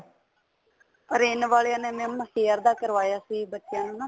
orange ਵਾਲਿਆ ਨੇ mam hair ਦਾ ਕਰਵਾਇਆ ਸੀ ਬੱਚਿਆਂ ਨੂੰ ਨਾ